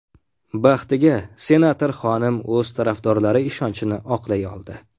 Baxtiga, senator xonim o‘z tarafdorlari ishonchini oqlay oldi.